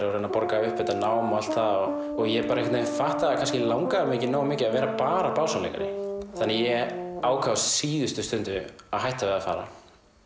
og reyna að borga upp þetta nám og allt það og ég bara einhvern veginn fattaði að kannski langaði mig ekki nógu mikið að vera bara básúnuleikari þannig að ég ákvað á síðustu stundu að hætta við að fara